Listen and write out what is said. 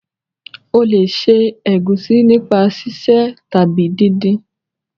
o le se egusi nípa sise tàbí din-din.